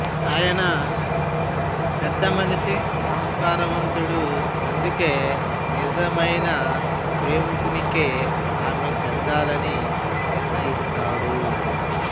ఆయన పెద్దమనిషి సంస్కారవంతుడు అందుకే నిజమైన ప్రేమికునికే ఆమె చెందాలని నిర్ణయిస్తాడు